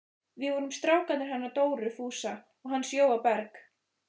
Við vorum strákarnir hennar Dóru Fúsa og hans Jóa Berg.